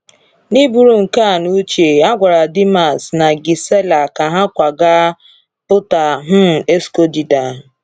N’iburu nke a n’uche, a gwara Dimas na Gisela ka ha kwaga Punta um Escondida.